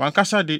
Wʼankasa de,